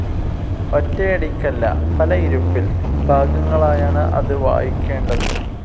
ഒറ്റയടിക്കല്ല, പല ഇരുപ്പിൽ, ഭാഗങ്ങളായാണ് അത് വായിക്കേണ്ടത്.